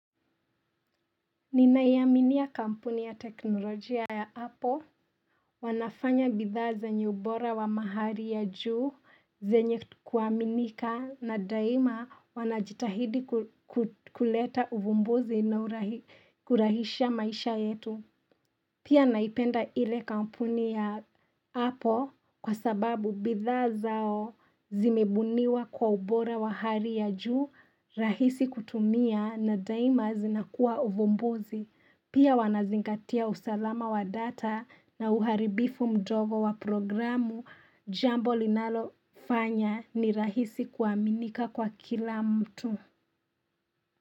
Ninaiamini ya kampuni ya teknolojia ya hapo, wanafanya bidhaa zenye ubora wa mahali ya juu, zenye kuaminika, na daima wanajitahidi kuleta uvumbuzi na kurahisha maisha yetu. Pia naipenda ile kampuni ya hapo kwa sababu bidhaa zao zimebuniwa kwa ubora wa hali ya juu rahisi kutumia na daima zinakuwa uvumbuzi. Pia wanazingatia usalama wa data na uharibifu mdogo wa programu jambo linalo fanya ni rahisi kuaminika kwa kila mtu.